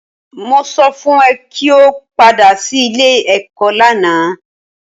Mo sọ fún ẹ kí o padà sí ilé-ẹ̀kọ́ lánàá